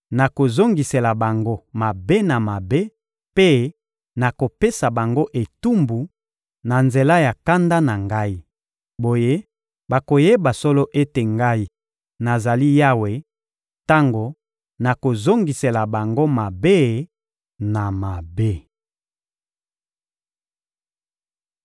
Nakozongisela bango mabe na mabe mpe nakopesa bango etumbu na nzela ya kanda na Ngai. Boye, bakoyeba solo ete Ngai, nazali Yawe, tango nakozongisela bango mabe na mabe.›»